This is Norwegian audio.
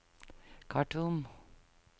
Khartoum